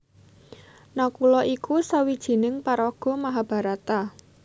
Nakula iku sawijining paraga Mahabharata